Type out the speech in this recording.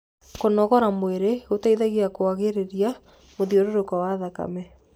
kũnogora mwĩrĩ gũteithagia kũagĩrĩrĩa mũthiũrũrũko wa thakame